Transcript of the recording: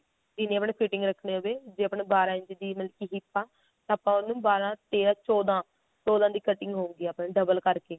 ਜਿਵੇਂ ਵੀ ਆਪਣੀ fitting ਰੱਖਣੀ ਹੋਵੇ ਜੇ ਆਪਣਾ ਕੀ ਬਾਹਰਾਂ ਇੰਚ ਦੀ ਮਤਲਬ ਕੀ hip ਆ ਤਾਂ ਆਪਾਂ ਉਹਨੂੰ ਬਾਰ੍ਹਾਂ ਤੇਰਾਂ ਚੋਦਾਂ ਚੋਦਾਂ ਦੀ cutting ਹੋਊਗੀ ਆਪਣੀ double ਕਰਕੇ